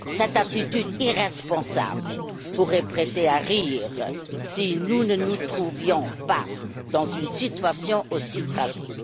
Cette attitude irresponsable pourrait prêter à rire si nous ne nous trouvions pas dans une situation aussi tragique.